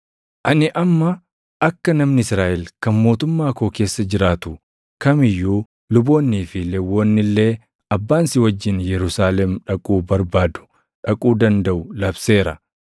Ani amma akka namni Israaʼel kan mootummaa koo keessa jiraatu kam iyyuu luboonnii fi Lewwonni illee abbaan si wajjin Yerusaalem dhaquu barbaadu dhaquu dandaʼu labseera.